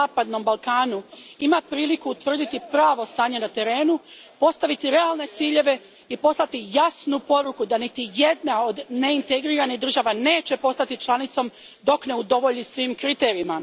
zapadnom Balkanu ima priliku utvrditi pravo stanje na terenu, postaviti realne ciljeve i poslati jasnu poruku da niti jedna od neintegriranih država neće postati članicom dok ne udovolji svim kriterijima.